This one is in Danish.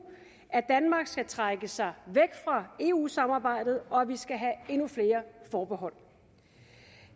at danmark skal trække sig væk fra eu samarbejdet og at vi skal have endnu flere forbehold